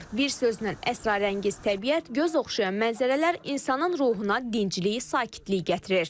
Bir sözlə əsrarəngiz təbiət, göz oxşayan mənzərələr insanın ruhuna dincliyi, sakitliyi gətirir.